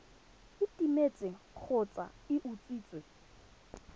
e timetse kgotsa e utswitswe